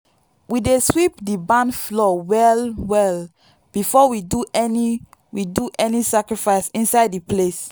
we dey sweep the barn floor well-well before we do any we do any sacrifice inside the place.